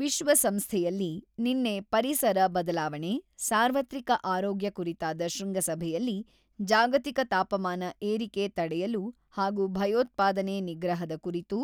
ವಿಶ್ವ ಸಂಸ್ಥೆಯಲ್ಲಿ ನಿನ್ನೆ ಪರಿಸರ ಬದಲಾವಣೆ, ಸಾರ್ವತ್ರಿಕ ಆರೋಗ್ಯ ಕುರಿತಾದ ಶೃಂಗಸಭೆಯಲ್ಲಿ ಜಾಗತಿಕ ತಾಪಮಾನ ಏರಿಕೆ ತಡೆಯಲು ಹಾಗೂ ಭಯೋತ್ಪಾದನೆ ನಿಗ್ರಹದ ಕುರಿತು